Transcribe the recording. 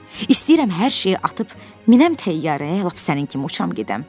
İstəyirəm hər şeyi atıb minəm təyyarəyə, lap sənin kimi uçam gedəm.